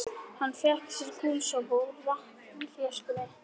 Hann fékk sér gúlsopa úr vatnsflöskunni.